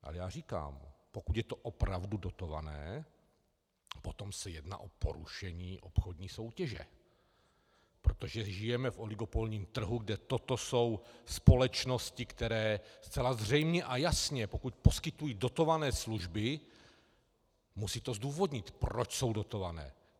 Ale já říkám, pokud je to opravdu dotované, potom se jedná o porušení obchodní soutěže, protože žijeme v oligopolním trhu, kde toto jsou společnosti, které zcela zřejmě a jasně, pokud poskytují dotované služby, musí to zdůvodnit, proč jsou dotované.